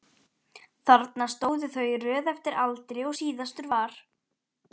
Þarna stóðu þau í röð eftir aldri og síðastur var